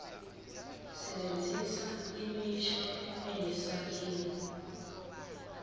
sebenzisa imisho enesakhiwo